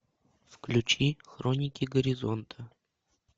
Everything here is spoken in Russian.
включи хроники горизонта